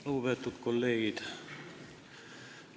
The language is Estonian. Lugupeetud kolleegid!